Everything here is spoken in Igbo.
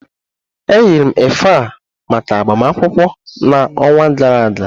eyiri m efe a maka agbamakwụkwọ na onwa gara aga.